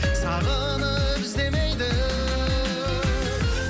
сағынып іздемейді